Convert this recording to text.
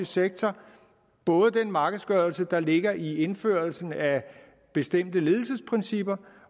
sektor både den markedsgørelse der ligger i indførelsen af bestemte ledelsesprincipper